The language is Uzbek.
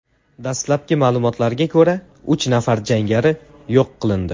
Dastlabki ma’lumotlarga ko‘ra, uch nafar jangari yo‘q qilindi.